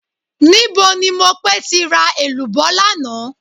Níbo ni Mopé ti ra èlùbọ́ lánàá?